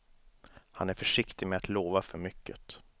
Han är försiktig med att lova för mycket.